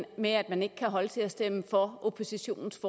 med at man ikke kan holde til at stemme for oppositionens